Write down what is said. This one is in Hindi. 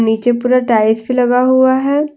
नीचे पुरा टाइल्स भी लगा हुआ है।